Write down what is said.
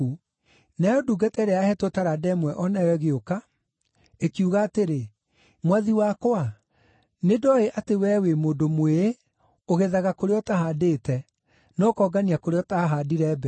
“Nayo ndungata ĩrĩa yaheetwo taranda ĩmwe o nayo ĩgĩũka. Ĩkiuga atĩrĩ, ‘Mwathi wakwa, nĩ ndooĩ atĩ wee wĩ mũndũ mwĩĩ, ũgethaga kũrĩa ũtahandĩte, na ũkongania kũrĩa ũtaahandire mbeũ.